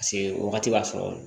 Paseke wagati b'a sɔrɔ